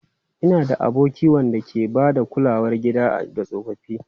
Ina da aboki wanda ke ba da kulawar gida ga tsofaffi.